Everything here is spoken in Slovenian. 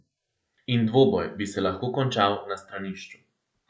In dvoboj bi se lahko končal na stranišču.